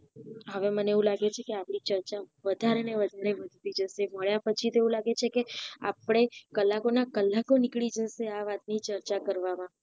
હવે મને એવું લાગે છે કે આપડી ચર્ચા વધારે ને વધારે વધતી મળ્યા પછી તો એવું લાગે છે કે આપડે કલાકો ના કલાકો નીકળી જશે આ વાત ની ચર્ચા કરવામાં